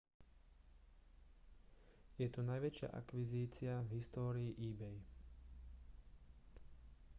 je to najväčšia akvizícia v histórii ebay